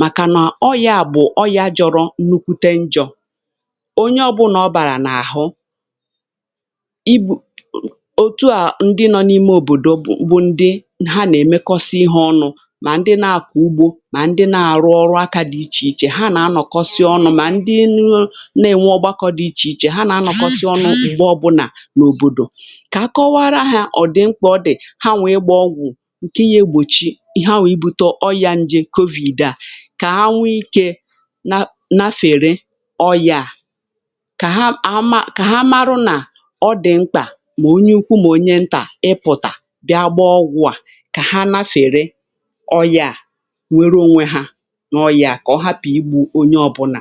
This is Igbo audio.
màkànà ọ ya à bụ̀ ọ ya jọrọ nnukwute njọ onye ọ̀bụ̀là ọ bàrà n’àhụ. i bù otu à, ndị nọ n’ime òbòdò bụ̀ ndị ha nà-èmekọsi ihe ọnụ̇ mà ndị na-àkọ̀ ugbȯ mà ndị na-àrụ ọrụ aka dị ichè ichè, ha nà-anọ̀kọsị ọnụ̇. mà ndị nà-ènwe ọgbakọ dị ichè ichè, ha nà-anọ̀kọsị ọnụ̇ m̀gbè ọbụnà n’òbòdò. kà kọwara hȧ ọ̀ dị̀ mkpà, ọ dị̀ ha nwè i gbaa ọgwụ̀ ǹke ya egbòchi ihe ha nwè ibu̇tò ọyȧ ǹjè COVID à, kà ha nwee ikė na fère ọyà, kà ha marụ nà ọ dị̀ mkpà mà onye ukwu mà onye ntà ị pụ̀tà bịa gbaa ọgwụ̇ à kà ha nafèrè ọ yà, nwee onwe ha nà ọyà, kà ọ hapụ̀ igbù onye ọbụ̇nà.